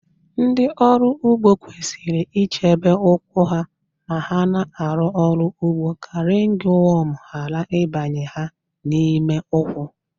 Ndị ọrụ ugbo kwesịrị ichebe ụkwụ ha ma ha na-arụ ọrụ ugbo ka rịngwọm ghara ịbanye ha n'ime ụkwụ